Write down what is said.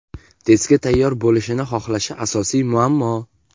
testga tayyor bo‘lishini xohlashi – asosiy muammo.